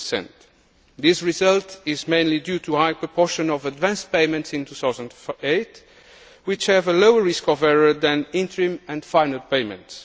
2. This result is mainly due to a high proportion of advance payments in 2008, which have a lower risk of error than interim and final payments.